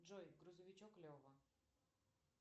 джой грузовичок лева